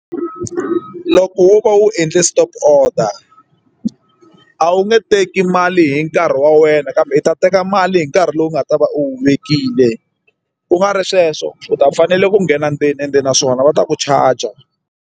Loko wo ka wu endle stop order a wu nge teki mali hi nkarhi wa wena kambe u ta teka mali hi nkarhi lowu nga ta va u vekile ku nga ri sweswo u ta fanele ku nghena ndzeni ende naswona va ta ku charger.